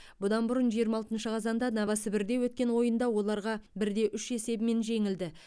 бұдан бұрын жиырма алтыншы қазанда новосібірде өткен ойында оларға бірде үш есебімен жеңілді